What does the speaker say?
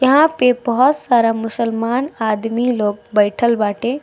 यहाँ पे बहोत सारा मुस्लमान आदमी लोग बइठल बाटे।